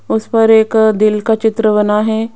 उसपर एक दिल का चित्र बना है।